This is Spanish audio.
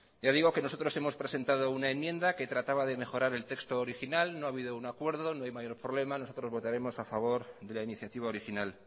nosotros hemos presentado una enmienda que trataba de mejorar el texto original no ha habido un acuerdo no hay mayor problema nosotros votaremos a favor de la iniciativa original